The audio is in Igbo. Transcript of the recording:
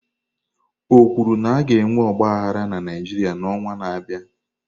O kwuru na a ga-enwe ọgba aghara na Naịjirịa n'ọnwa na-abịa?